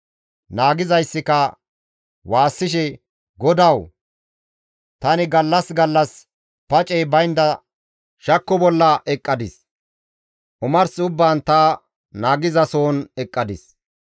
Naagizayssika waassishe, «Godawu, tani gallas gallas pacey baynda shakko bolla eqqadis; omars ubbaan ta naagizasohon eqqadis.